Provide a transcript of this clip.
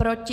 Proti?